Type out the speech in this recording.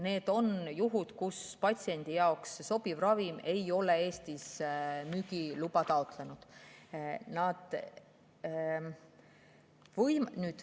Need on juhud, kui patsiendi jaoks sobivale ravimile ei ole Eestis müügiluba taotletud.